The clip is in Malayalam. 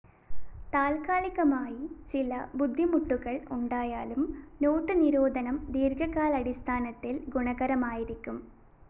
താത്കാലികമായി ചില ബുദ്ധിമുട്ടുകള്‍ ഉണ്ടായാലും നോട്ട്‌ നിരോധനം ദീര്‍ഘകാലാടിസ്ഥാനത്തില്‍ ഗുണകരമായിരിക്കും